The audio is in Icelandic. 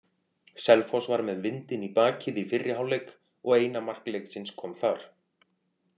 Selfoss var með vindinn í bakið í fyrri hálfleik og eina mark leiksins kom þar.